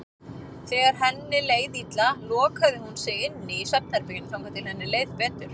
Þegar henni leið illa lokaði hún sig inni í svefnherberginu þangað til henni leið betur.